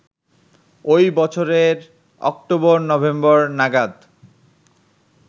ওই বছরের অক্টোবর-নভেম্বর নাগাদ